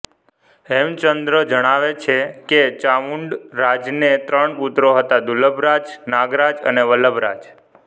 હેમચંદ્ર જણાવે છે કે ચામુંડરાજને ત્રણ પુત્રો હતા દુર્લભરાજ નાગરાજ અને વલ્લભરાજ